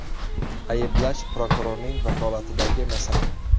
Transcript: Ayblash prokurorning vakolatidagi masala.